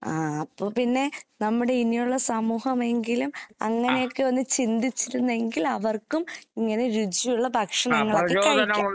ആഹ് അപ്പോ പിന്നെ നമ്മുടെ ഇനിയൊള്ള സമൂഹമെങ്കിലും അങ്ങനെയൊക്കെയൊന്ന് ചിന്തിച്ചിരുന്നെങ്കിൽ അവർക്കും ഇങ്ങനെ രുചിയുള്ള ഭക്ഷണങ്ങളൊക്കെ കഴിക്കാം.